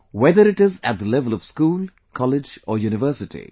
Whether it is at the level of school, college, or university